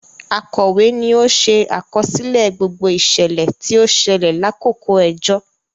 Akọwe ní o ṣe àkọsílẹ̀ gbogbo iṣẹlẹ ti o ṣẹlẹ lakoko ẹjọ